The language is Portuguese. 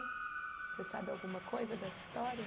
Você sabe alguma coisa dessa história?